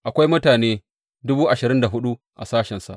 Akwai mutane dubu ashirin da hudu a sashensa.